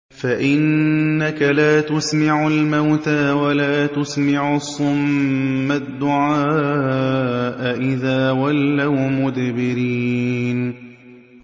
فَإِنَّكَ لَا تُسْمِعُ الْمَوْتَىٰ وَلَا تُسْمِعُ الصُّمَّ الدُّعَاءَ إِذَا وَلَّوْا مُدْبِرِينَ